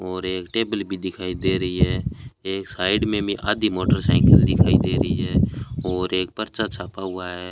और एक टेबल भी दिखाई दे रही है एक साइड में भी आदी मोटरसाइकिल दिखाई दे रही है और एक पर्चा छपा हुआ है।